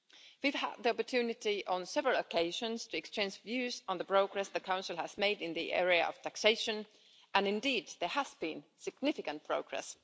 We have had the opportunity on several occasions to exchange views on the progress the Council has made in the area of taxation, and indeed there has been significant progress.